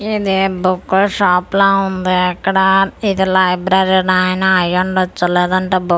ఇది book shop లా ఉంది ఇక్కడ ఇది లైబ్రరీ అయినా అయ్యి ఉండచ్చు లేదంటే బు--